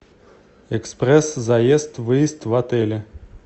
экспресс заезд выезд в отеле